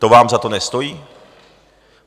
To vám za to nestojí?